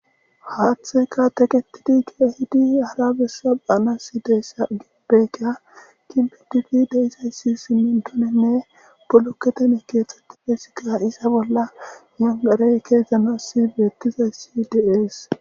haatheka teketidi kizidi hara bessaaana si deessa gibbeeka kinbi difi de isayssi simintonenne buloketeme keexxetti feesika isa bolla nangarey keezdzana sibeettiza sidees